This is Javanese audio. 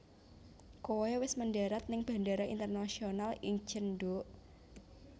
Koe wes mendarat ning Bandara Internasional Incheon nduk